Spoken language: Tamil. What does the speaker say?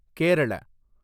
கேரள